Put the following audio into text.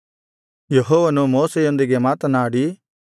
ಯೆಹೋವನು ಮೋಶೆಯೊಂದಿಗೆ ಮಾತನಾಡಿ